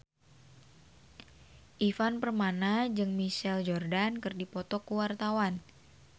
Ivan Permana jeung Michael Jordan keur dipoto ku wartawan